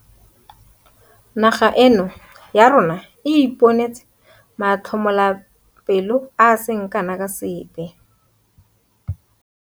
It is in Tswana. Naga eno ya rona e ipone tse matlhotlhapelo a se kana ka sepe.